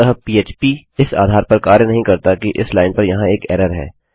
अतः phpपीएचपी उस आधार पर कार्य नहीं करता कि इस लाइन पर यहाँ एक एरर है